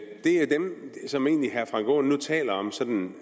dem som herre frank aaen nu egentlig taler om som